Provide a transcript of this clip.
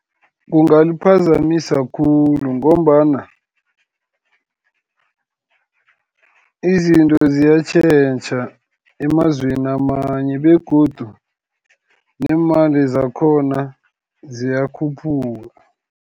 Kungamphazamisa khulu, ngombana izinto ziyatjhetjha emazweni amanye, begodu neemali zakhona ziyakhuphuka.